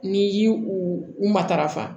N'i y'i u matarafa